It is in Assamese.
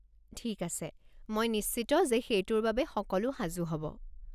ঠিক আছে, মই নিশ্চিত যে সেইটোৰ বাবে সকলো সাজু হ'ব।